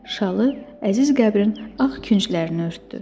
Şalı əziz qəbrin ağ künclərini örtdü.